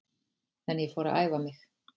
En ég fór að æfa mig.